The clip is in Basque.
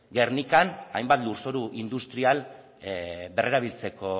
gernikan hainbat lurzoru industrial berrerabiltzeko